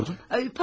Nədən sordun?